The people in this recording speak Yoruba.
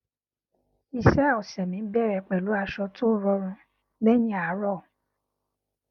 iṣẹ ọsẹ mi bẹrẹ pẹlú aṣọ tó rọrùn lẹyìn àárọ